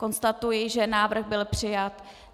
Konstatuji, že návrh byl přijat.